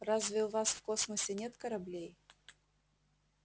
разве у вас в космосе нет кораблей